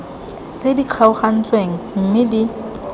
tse di kgaogantsweng mme di